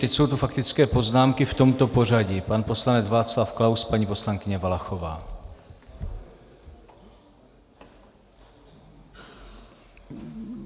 Teď jsou tu faktické poznámky v tomto pořadí: pan poslanec Václav Klaus, paní poslankyně Valachová.